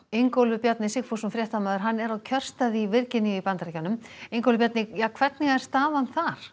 Ingólfur Bjarni Sigfússon fréttamaður er á kjörstað í Virginíu í Bandaríkjunum Ingólfur hvernig hvernig er staðan þar